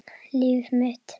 Líf mitt.